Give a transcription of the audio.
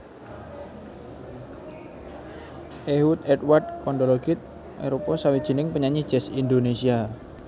Ehud Edward Kondologit arupa sawijining penyanyi jazz Indonésia